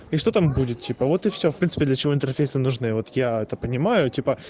и что там будет типа вот и все в принципе для чего интерфейса нужны вот я это понимаю типа